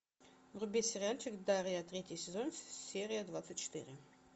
вруби сериальчик дарья третий сезон серия двадцать четыре